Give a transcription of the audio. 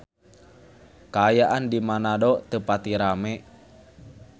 Kaayaan di Manado teu pati rame